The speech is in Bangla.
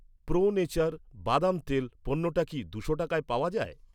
প্রো নেচার বাদাম তেল পণ্যটা কি দুশো টাকায় পাওয়া যায়?